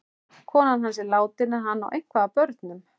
Konan hans er látin en hann á eitthvað af börnum.